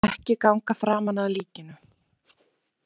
Ekki ganga framan að líkinu.